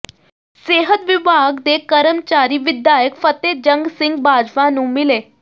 ਸਿਹਤ ਵਿਭਾਗ ਦੇ ਕਰਮਚਾਰੀ ਵਿਧਾਇਕ ਫ਼ਤਹਿਜੰਗ ਸਿੰਘ ਬਾਜਵਾ ਨੂੰ ਮਿਲੇ